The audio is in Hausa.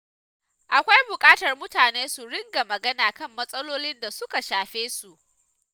Akwai buƙatar mutane su ringa magana kan matsalolin da suka shafe su.